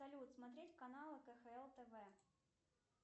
салют смотреть канал кхл тв